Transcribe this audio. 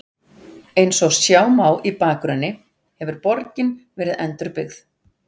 Eins og sjá má í bakgrunni hefur borgin verið endurbyggð.